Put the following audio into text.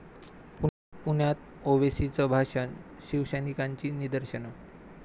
पुण्यात ओवेसींचं भाषण, शिवसैनिकांची निदर्शनं